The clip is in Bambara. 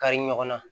Kari ɲɔgɔnna